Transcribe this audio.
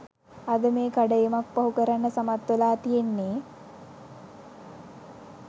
අද මේ කඩඉමක් පහු කරන්න සමත් වෙලා තියෙන්නේ.